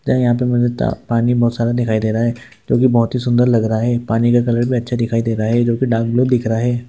यहाँ पे मुझे पानी बहुत सारा दिखाई दे रहा है जोकी बहुत ही सुंदर लग रहा है पानी का कलर भी अच्छा दिखाई दे रहा है जोकी डार्क ब्लू दिख रहा है।